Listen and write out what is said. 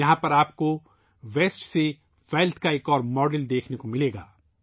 یہاں پر آپ کو ویسٹ سے ویلتھ کا ایک ماڈل دیکھنے کو ملےگا